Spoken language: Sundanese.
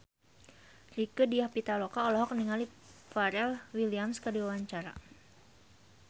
Rieke Diah Pitaloka olohok ningali Pharrell Williams keur diwawancara